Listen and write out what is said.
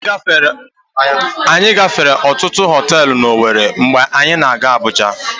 Anyị gafere ọtụtụ họtelụ n'Owere mgbe anyị na-aga Abuja.